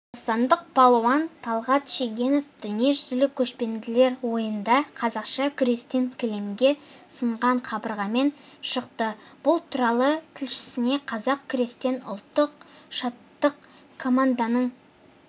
қазақстандық балуан талғат шегенов дүниежүзілік көшпенділер ойынында қазақша күрестен кілемге сынған қабырғамен шықты бұл туралы тілшісіне қазақша күрестен ұлттық штаттық команданың